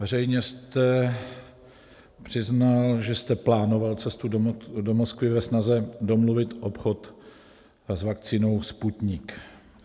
Veřejně jste přiznal, že jste plánoval cestu do Moskvy ve snaze domluvit obchod s vakcínou Sputnik.